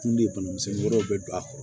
Kun de bana misɛnnin wɛrɛw bɛ don a kɔrɔ